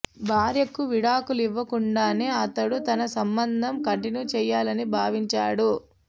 భార్యకు విడాకులు ఇవ్వకుండానే అతడు తన సంబంధం కంటిన్యూ చేయాలని భావించాడు